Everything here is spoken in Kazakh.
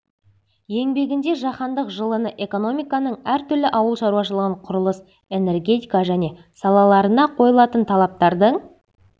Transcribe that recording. еңбегінде жаһандық жылыны экономиканың әртүрлі ауыл шаруашылығы құрылыс энергетика және салаларына қойылатын талаптардың